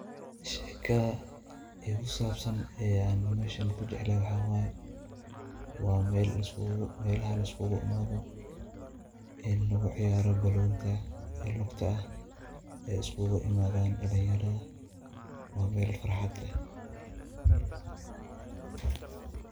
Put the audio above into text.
Sheekah kusabsan Ayan meshan kujeclahay maxawaye wa mealaha liskugu imathoh ee lagu ceeyaroh banontaa ee lugta aah ee iskugu imathan dalinyarada wa meel farxaada leeh.